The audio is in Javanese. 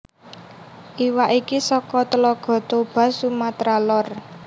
Iwak iki saka Tlaga Toba Sumatera Lor